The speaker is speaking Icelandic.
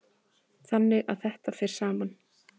Þannig að þetta fer saman.